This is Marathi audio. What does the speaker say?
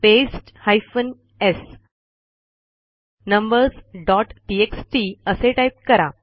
paste hyphen s numbers dot TXT असे टाईप करा